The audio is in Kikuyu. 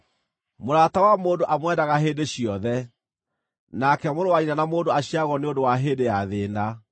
Mũrata wa mũndũ amwendaga hĩndĩ ciothe, nake mũrũ wa nyina na mũndũ aciaragwo nĩ ũndũ wa hĩndĩ ya thĩĩna.